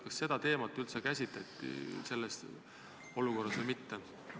Kas seda teemat üldse käsitleti selles olukorras või mitte?